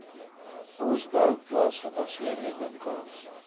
bosbou plaasgebaseerde winkels